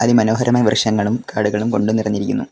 മനോഹരമായ വൃക്ഷങ്ങളും കാടുകളും കൊണ്ട് നിറഞ്ഞിരിക്കുന്നു.